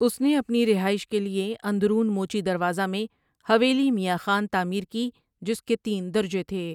اس نے اپنی رہائش کے لیے اندرون موچی دروازہ میں حویلی میاں خان تعمیر کی جس کے تین درجے تھے ۔